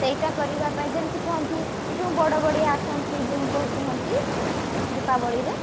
ସେଇଟା କରିବା ପାଇଁ ଯେମତି କୁହନ୍ତି ଏଇ ଯଉ ବଡବଡିଆ ଆସନ୍ତି ଯଉ କୁହନ୍ତି ଦୀପାବଳି ରେ